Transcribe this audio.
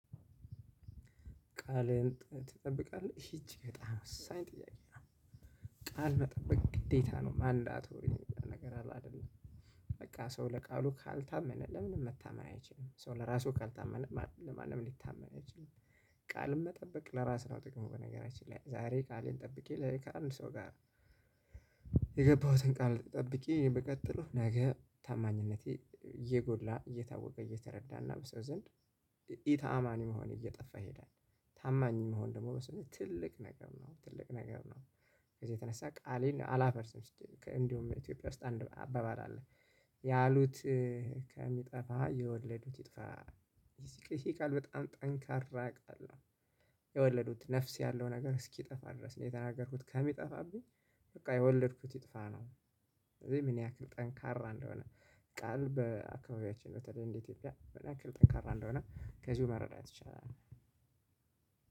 ቃልህን ትጠብቃለህ እቺ በጣም ወሳኝ ጥያቄ ናት? ቃል መጠበቅ ግዴታ ነው ማንዳቶሪ ነገር አለ። አይደለ። በቃ ሰው ለቃሉ ካልታመነ ለምንም መታመን አይችልም ሶ ለራሱ ካልታመነ ለማንም ሊታመን አይችልም። ቃልን መጠበቅ ለራስ ነው ጥቅም በነገራችን ላይ ዛሬ ቃሌን ጠብቄ ነገ ከአንድ ሰው ጋር። የገባሁትን ቃል ጠብቄ ብቀጥለው ነገ ታማኝነቴ እየጎላ እየታወቀ እየተረዳና በሰው ዘንድ ኢ ተአማኒ መሆን እየጠፋ ይሄዳል። ታማኝ መሆን ደግሞ ለሰው ልጅ ትልቅ ነገር ነው ትልቅ ነገር ነው። ከዚህ የተነሳ ቃሌን አላፈርስም ሲጀመር እንዲሁም ኢትዮጵያ ውስጥ አንድ አበባል አለ። ያሉት ከሚጠፋ የወለዱት። ይጥፋ ይሄ ቃል በጣም ጠንካራ ቃል ነው። የወለዱት ነፍስ ያለው ነገር እስኪጠፋ ድረስ ነው የተናገርኩት ከሚጠፋብኝ በቃ የወለድኩት ይጥፋ ነው። እዚህ ምን ያክል ጠንካራ እንደሆነ? ቃል በአካባቢያችን በተለይ እንደ ኢትዮጵያ ምን ያክል ጠንካራ እንደሆነ ከዚሁ መረዳት ይቻላል።